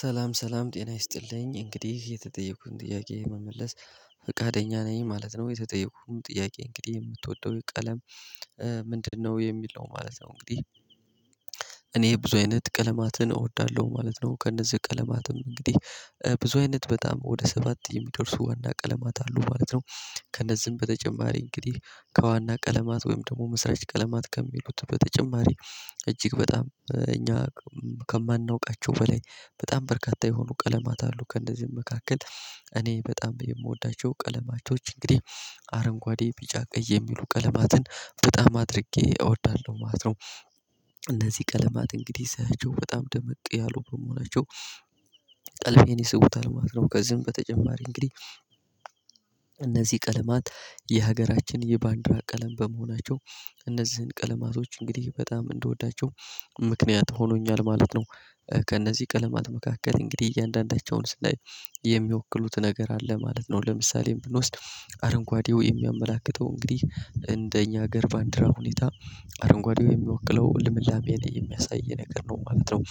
ሰላም ሰላም ጤና ይስጥልኝ እንግዲህ የተጠየቅኩትን ጥያቄ መመለስ ፈቃደኛ ነኝ ማለት ነው የተጠየኩም ጥያቄ እንግዲህ የምትወደው ቀለም ምንድን ነው የሚል ነው ማለት ነው። እንግዲህ እኔ ብዙ አይነት ቀለማትን እወዳለሁ ማለት ነው ከእነዚህ ቀለማትም እንግዲህ ብዙ አይነት በጣም ወደ ሰባት የሚደርሱ ዋና ቀለማት አሉ ማለት ነው። ከነዚህም በተጨማሪ እንግዲህ ከዋና ቀለማት ወይም ደግሞ መስራች ቀለማት ከሚሉት በተጨማሪ እጅግ በጣም እኛ ከማናውቃቸው በላይ በጣም በርካታ የሆኑ ቀለማት አሉ። ከእነዚህም መካከል እኔ በጣም የምወዳቸው ቀለማቾች እንግዲህ አረንጓዴ ቢጫ ቀይ የሚሉ ቀለማትን በጣም አድርጌ እወዳለሁ ማለት ነው። እነዚህ ቀለማት እንግዲህ ሳያቸው በጣም ድምቅ ያሉ በመሆናቸው ቀልቤን ይስቡታል ማለት ነው። ከዚህም በተጨማሪ እንግዲህ እነዚህ ቀለማት የሀገራችን የባንዲራ ቀለም በመሆናቸው እነዚህን ቀለማቶች እንግዲህ በጣም እንድወዳቸው ምክንያት ሆኖኛል ማለት ነው። ከእነዚህ ቀለማት መካከል እንግዲህ እያንዳንዳቸውን ስናይ የሚወክሉት ነገር አለ ማለት ነው። ለምሳሌ ብንወስድ አረንጓዴው የሚያመላክተው እንግዲህ እንደኛ ሀገር ባንዲራ ሁኔታ አረንጓዴው የሚወክለው ልምላሜን የሚያሳይ ነገር ነው ማለት ነው።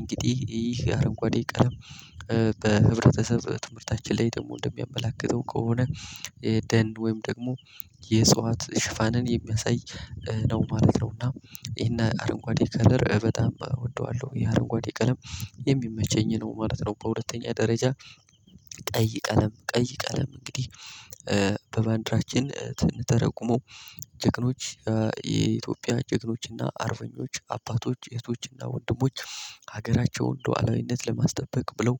እንግዲህ ይህ አረንጓዴ ቀለም በህብረተሰብ ትምህርታችን ላይ ደግሞ እንደሚያመላክተው ከሆነ ደን ወይም ደግሞ የእጽዋት ሽፋንን የሚያሳይ ነው ማለት ነው። እና ይሄን አረንጓዴ ከለር በጣም እወደዋለሁ ይህ አረንጓዴ ቀለም የሚመቸኝ ነው ማለት ነው። በሁለተኛ ደረጃ ቀይ ቀለም ቀይ ቀለም እንግዲህ በባንዲራችን ትን ተረጉመው ጀግኖች የኢትዮጵያ ጭግኖች እና አርበኞች አባቶች እህቶች እና ወንድሞች ሀገራቸውን ሉዓላዊነት ለማስጠበቅ ብለው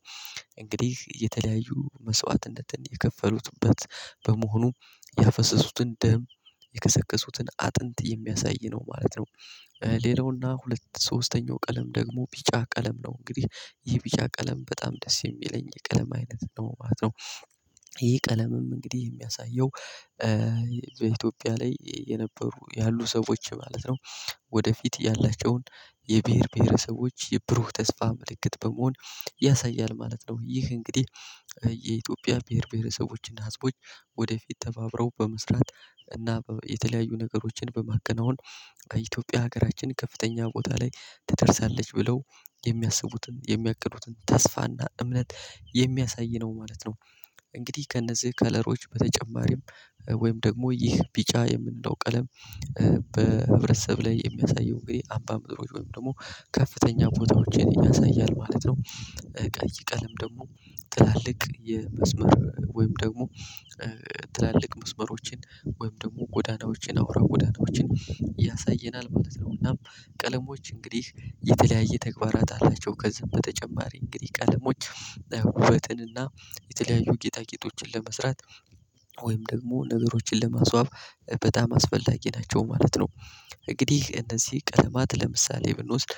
እንግዲህ የተለያዩ መስዋዕትነትን የከፈሉትበት በመሆኑ ያፈሰሱትን ደም የከሰከሱትን አጥንት የሚያሳይ ነው ማለት ነው። ሌላው እና ሁለት ሶስተኛው ቀለም ደግሞ ቢጫ ቀለም ነው እንግዲህ ይህ ቢጫ ቀለም በጣም ደስ የሚለኝ የቀለም አይነት ነው ማለት ነው። ይሄ ቀለምም እንግዲህ የሚያሳየው በኢትዮጵያ ላይ የነበሩ ያሉ ሰዎች ማለት ነው ወደፊት ያላቸውን የብሄር ብሄረሰቦች የብሩህ ተስፋ ምልክት በመሆን ያሳያል ማለት ነው። ይህ እንግዲህ የኢትዮጵያ ብሄር ብሄረሰቦች እና ህዝቦች ወደፊት ተባብረው በመስራት እና የተለያዩ ነገሮችን በማከናወን ከኢትዮጵያ ሀገራችን ከፍተኛ ቦታ ላይ ትደርሳለች ብለው የሚያስቡትን የሚያቅዱትን ተስፋ እና እምነት የሚያሳይ ነው ማለት ነው። እንግዲህ ከእነዚህ ከለሮች በተጨማሪም ወይም ደግሞ ይህ ቢጫ የምንለው ቀለም በህብረተሰብ ላይ የሚያሳየው እንግዲህ አምባ ምድሮች ወይም ደግሞ ከፍተኛ ቦታዎችን ያሳያል ማለት ነው። ቀይ ቀለም ደግሞ ትላልቅ የመስመር ወይም ደግሞ ትላልቅ መስመሮችን ወይም ደግሞ ጎዳናዎችን አውራ ጎዳናዎችን ያሳየናል ማለት ነው። እናም ቀለሞች እንግዲህ የተለያየ ተግባራት አላቸው ከዝም በተጨማሪ እንግዲህ ቀለሞች ውበትን እና የተለያዩ ጌጣጌጦችን ለመስራት ወይም ደግሞ ነገሮችን ለማስዋብ በጣም አስፈላጊ ናቸው ማለት ነው። እንግዲህ እነዚህ ቀለማት ለምሳሌ ብንወስድ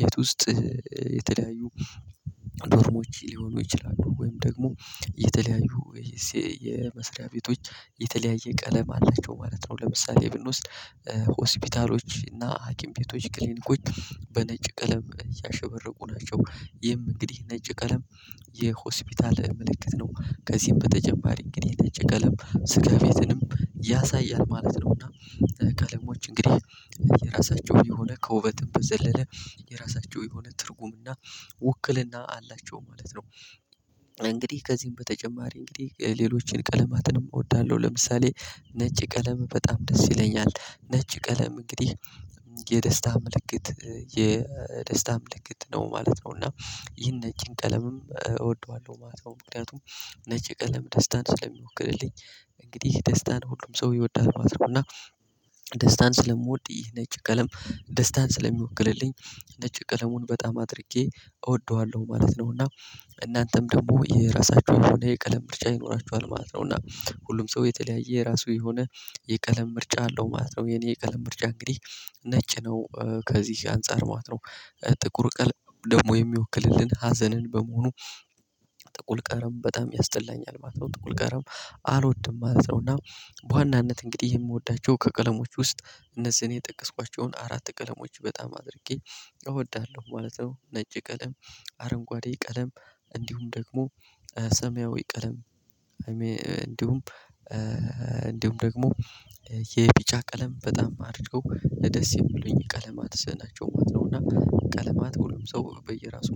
ቤት ውስጥ የተለያዩ ዶርሞች ሊሆኑ ይችላሉ ወይም ደግሞ የተለያዩ የመስሪያ ቤቶች የተለያየ ቀለም አላቸው ማለት ነው። ለምሳሌ ብንወስድ ሆስፒታሎች እና ሀኪም ቤቶች ክሊኒኮች በነጭ ቀለም እያሸበረቁ ናቸው ይህም እንግዲህ ነጭ ቀለም የሆስፒታል ምልክት ነው። ከዚህም በተጨማሪ እንግዲህ ነጭ ቀለም ስጋ ቤትንም ያሳያል ማለት ነው። እና ቀለሞች እንግዲህ የራሳቸው የሆነ ከውበትም በዘለለ የራሳቸው የሆነ ትርጉም እና ውክልና አላቸው ማለት ነው። እንግዲህ ከዚህም በተጨማሪ እንግዲህ ሌሎችን ቀለማትንም እወዳለሁ ለምሳሌ ነጭ ቀለም በጣም ደስ ይለኛል ነጭ ቀለም እንግዲህ የደስታ ምልክት የደስታ ምልክት ነው ማለት ነው። እና ይህን ነጭን ቀለምም እወደዋለሁ ማለት ነው። ምክንያቱም ነጭ ቀለም ደስታን ስለሚወክልልኝ እንግዲህ ደስታን ሁሉም ሰው ይወዳል ማለት ነው። እና ደስታን ስለምወድ ይህ ነጭ ቀለም ደስታን ስለሚወክልልኝ ነጭ ቀለሙን በጣም አድርጌ እወደዋለሁ ማለት ነው። እና እናንተም ደግሞ የራሳችሁ የሆነ የቀለም ምርጫ ይኖራችኋል ማለት ነው። እና ሁሉም ሰው የተለያየ የራሱ የሆነ የቀለም ምርጫ አለው ማለት ነው። የኔ የቀለም ምርጫ እንግዲህ ነጭ ነው። ከዚህ አንፃር ማለት ነው ጥቁር ቀለም ደግሞ የሚወክልልን ሀዘንን በመሆኑ ጥቁል ቀለም በጣም ያስጠላኛል ማለት ነው። ጥቁል ቀለም አልወድም ማለት ነው። እና በዋናነት እንግዲህ የምወዳቸው ከቀለሞች ውስጥ እነዚህን የጠቀስኳቸውን አራት ቀለሞች በጣም አድርጌ እወዳለሁ ማለት ነው። ነጭ ቀለም አረንጓዴ ቀለም እንዲሁም ደግሞ ሰማያዊ ቀለም እንዲሁም እንዲሁም ደግሞ የቢጫ ቀለም በጣም አድርገው ደስ የሚሉኝ ቀለማትስ ናቸው ማለት ነው። እና ቀለማት ሁሉም ሰው በየራሱ